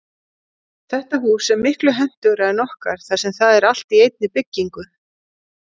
Þetta hús er miklu hentugra en okkar þar sem það er allt í einni byggingu.